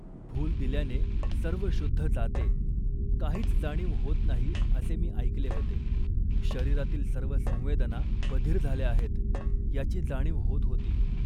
भूल दिल्याने सर्व शुद्ध जाते, काहीच जाणीव होत नाही असे मी ऐकले होते. शरीरातील सर्व संवेदना बधिर झाल्या आहेत याची जाणीव होत होती